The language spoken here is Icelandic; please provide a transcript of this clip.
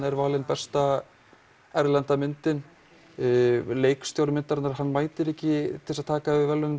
er valin besta erlenda myndin leikstjóri myndarinnar hann mætir ekki til þess að taka við verðlaunum